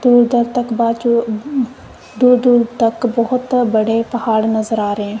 दूर दूर तक बाजू दूर दूर तक बहोत बड़े पहाड़ नज़र आ रहे हैं।